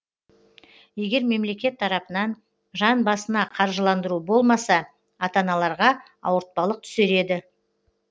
егер мемлекет тарапынан жан басына қаржыландыру болмаса ата аналарға ауыртпалық түсер еді